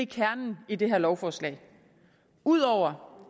kernen i det her lovforslag ud over